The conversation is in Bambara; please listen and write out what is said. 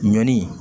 Ɲɔni